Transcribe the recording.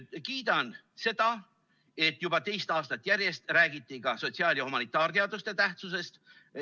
Kiidan seda, et juba teist aastat järjest räägiti ka sotsiaal‑ ja humanitaarteaduste tähtsusest.